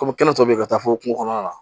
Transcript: Kɔmi kɛnɛ tɔ beyi ka taa fo kungo kɔnɔna la